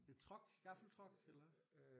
En truck? Gaffeltruck?